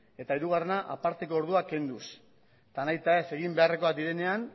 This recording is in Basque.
eta hirugarrena aparteko orduak kenduz eta nahita ez egin beharrekoak direnean